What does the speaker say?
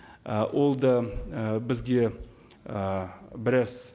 ы ол да ы бізге ы біраз